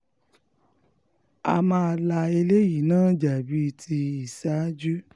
a máa la eléyìí náà já bíi ti ìṣáájú